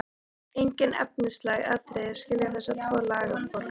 Engin efnisleg atriði skilja þessa tvo lagabálka að.